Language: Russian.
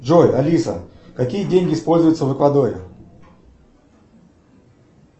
джой алиса какие деньги используются в эквадоре